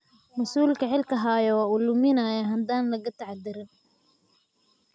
Masuulka xilka haya waa uu luminayaa haddaan laga taxadirin.